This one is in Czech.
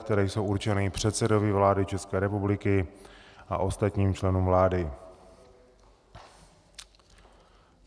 které jsou určeny předsedovi vlády České republiky a ostatním členům vlády.